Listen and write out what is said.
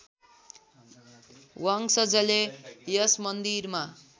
वंशजले यस मन्दिरमा